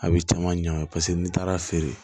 A bɛ caman ɲagami paseke n'i taara feere